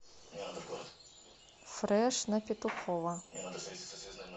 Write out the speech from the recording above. фреш на петухова